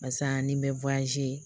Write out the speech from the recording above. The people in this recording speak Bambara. Wa saa ni n bɛ